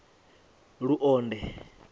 luonde